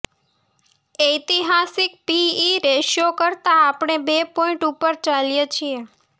ઐતિહાસિક PE ratio કરતાં આપણે બે પોઇન્ટ ઉપર ચાલીએ છીએ